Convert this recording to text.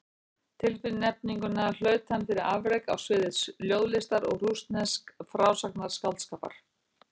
Tilnefninguna hlaut hann fyrir afrek á sviði ljóðlistar og rússnesks frásagnarskáldskapar.